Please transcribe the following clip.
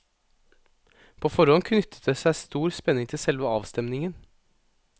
På forhånd knyttet det seg stor spenning til selve avstemningen.